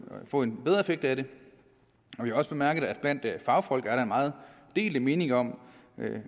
få en bedre effekt af det vi har også bemærket at blandt fagfolk er der meget delte meninger om